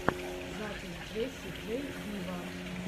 запись джесси джей виво